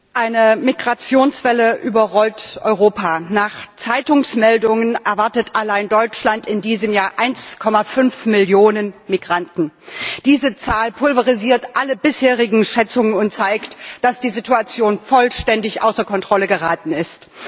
Herr Präsident! Eine Migrationswelle überrollt Europa. Nach Zeitungsmeldungen erwartet allein Deutschland in diesem Jahr 1,5 Millionen Migranten. Diese Zahl pulverisiert alle bisherigen Schätzungen und zeigt, dass die Situation vollständig außer Kontrolle geraten ist.